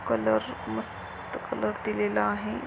Colour मस्त-- colour दिलेला आहे.